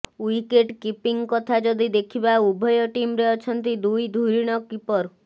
wicket keeping କଥା ଯଦି ଦେଖିବା ଉଭୟ ଟିମ୍ରେ ଅଛନ୍ତି ଦୁଇ ଧୁରିଣ କିପର